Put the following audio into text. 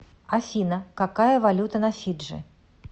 афина какая валюта на фиджи